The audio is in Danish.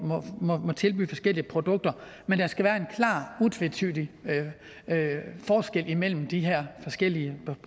tilbyde forskellige produkter men der skal være en klar og utvetydig forskel mellem de her forskellige